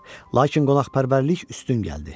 Lakin qonaqpərvərlik üstün gəldi.